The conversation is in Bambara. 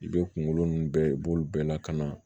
I bɛ kunkolo ninnu bɛɛ i b'olu bɛɛ lakana